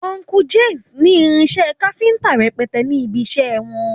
Uncle Jix ní irinṣẹ́ káfíńtà rẹpẹtẹ ní ibiṣẹ́ wọn.